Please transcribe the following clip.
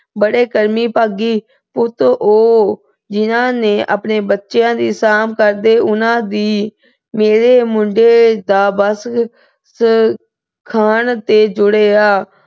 ਬੜੀ ਕਰਮੀ ਭਾਗੀ, ਪੁੱਤ ਉਹ ਜਿਹਨਾਂ ਨੇ ਆਪਣੇ ਬੱਚਿਆਂ ਦੀ ਸਾਂਭ ਕਰਦੇ ਉਹਨਾਂ ਦੀ। ਮੇਰੇ ਮੁੰਡੇ ਦਾ ਬਸ ਖਾਣ ਤੇ ਜੋਰ ਰਿਹਾ।